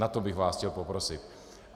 O to bych vás chtěl poprosit.